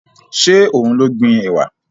Ṣé òun ló gbin ẹ̀wà?